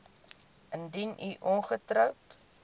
indien u ongetroud